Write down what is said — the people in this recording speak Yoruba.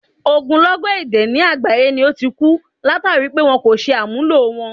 Ogúnlọ́gọ̀ èdè ni àgbáyé ni ó ti ku, látàri pé wọn kò ṣe àmúlò wọn.